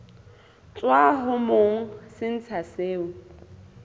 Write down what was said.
tswa ho monga setsha seo